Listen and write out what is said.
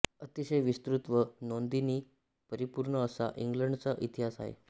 अतिशय विस्तृत व नोंदींनी परिपूर्ण असा इंग्लंडचा इतिहास आहे